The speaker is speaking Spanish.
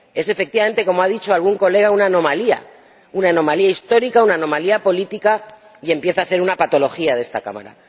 Es, efectivamente, como ha dicho algún diputado, una anomalía, una anomalía histórica, una anomalía política, y empieza a ser una patología de esta Cámara.